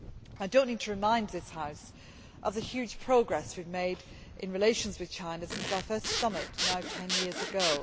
I do not need to remind this House of the huge progress we have made in relations with China since our first summit, now 10 years ago.